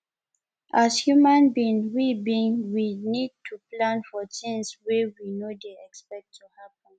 as human being we being we need to plan for things wey we no dey expect to happen